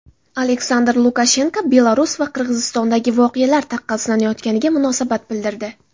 Aleksandr Lukashenko Belarus va Qirg‘izistondagi voqealar taqqoslanayotganiga munosabat bildirdi.